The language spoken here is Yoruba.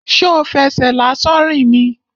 Ṣo fẹsẹ̀ lásán rìn ni?